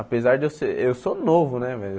Apesar de eu ser... Eu sou novo, né, velho?